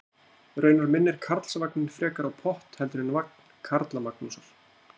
Raunar minnir Karlsvagninn frekar á pott heldur en vagn Karlamagnúsar.